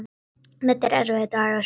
Þetta var erfiður dagur.